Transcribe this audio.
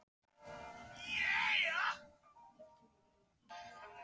Hjálmar Árnason: Við auðvitað eigum að taka þetta til skoðunar?